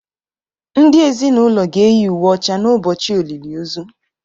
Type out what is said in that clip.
ndị ezinụlọ ga-eyi uwe ọcha n’ụbọchị olili ozu